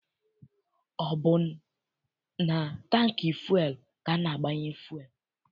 Ọ bụ na tankị fụel ka a na-agbanye fụel.